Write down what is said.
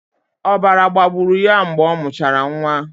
Ọbara gbagburu ya mgbe ọ mụchara nwa.